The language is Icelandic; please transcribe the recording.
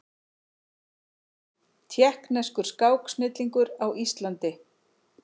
Tékkneskur skáksnillingur á Íslandi